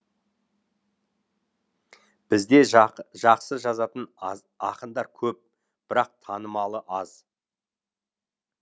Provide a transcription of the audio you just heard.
бізде жақ жақсы жазатын ақындар көп бірақ танымалы аз